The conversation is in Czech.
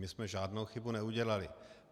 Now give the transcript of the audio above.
My jsme žádnou chybu neudělali.